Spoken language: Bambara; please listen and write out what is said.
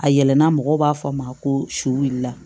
A yɛlɛnna mɔgɔw b'a fɔ a ma ko su la